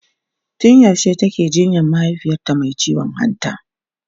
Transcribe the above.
tun yaushe take jinyan mahaifiyarta Mai ciwon hanta?